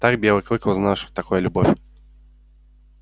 так белый клык узнал что такое любовь